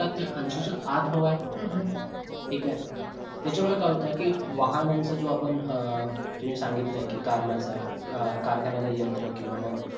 ऐशी च्या आत हवा आहे ठीक आहे. त्याच्यामुळे काय होत कि वाहनांचा जो आपण अं तुम्ही सांगितलं ली कि कारखान्यांचा यंत्र किंवा मग